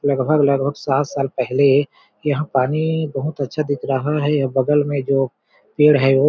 लगभग-लगभग सात साल पहले यहाँ पानी बहुत अच्छा दिख रहा है बगल में जो पेड़ हैं वो--